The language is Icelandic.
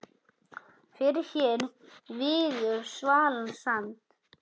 Fyrr hér viður svalan sand